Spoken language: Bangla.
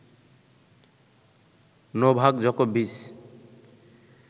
নোভাক জকোভিচ